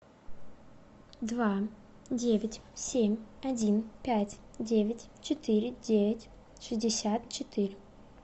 два девять семь один пять девять четыре девять шестьдесят четыре